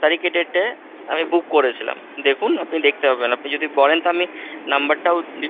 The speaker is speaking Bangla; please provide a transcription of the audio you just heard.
তারিখের date এ আমি book করেছিলাম, দেখুন আপনি দেখতে পাবেন আপনি যদি বলেন তো আমি number টাও দিতে,